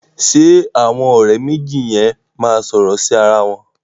Ṣẹ àwọn ọ̀rẹ́ méjì yẹn máa sọ̀rọ̀ sí ara wọn